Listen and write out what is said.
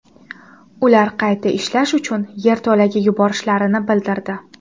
Ular qayta ishlash uchun yerto‘laga yuborishlarini bildirdi.